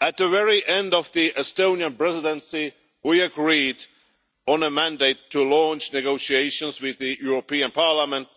At the very end of the Estonian Presidency we agreed on a mandate to launch negotiations with the European Parliament